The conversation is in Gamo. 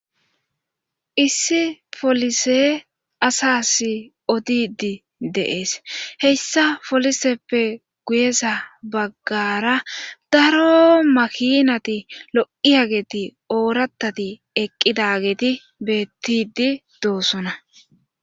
issi polise asas odidi de7es heyssa poliseppe guyesa baggara daro makinati lo7iyageti oorattati eqqidageeti beettidi doosona